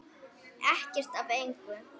Ekkert af engu.